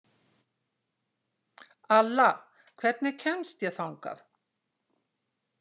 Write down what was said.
Alla, hvernig kemst ég þangað?